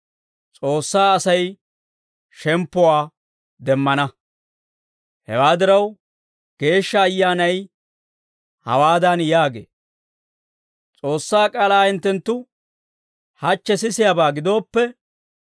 Hewaa diraw, Geeshsha Ayyaanay hawaadan yaagee; «S'oossaa k'aalaa hinttenttu hachche sisiyaabaa gidooppe,